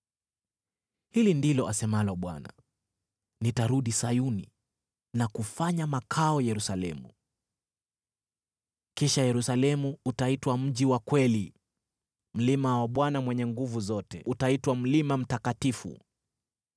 Hili ndilo asemalo Bwana : “Nitarudi Sayuni na kufanya makao Yerusalemu. Kisha Yerusalemu utaitwa mji wa kweli, mlima wa Bwana Mwenye Nguvu Zote utaitwa Mlima Mtakatifu.”